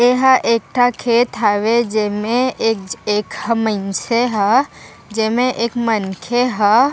एह एक ठक खेत हवे जेमे एक मंचे ह जेमे एक मनखे ह।